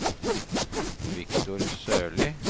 Victor Sørli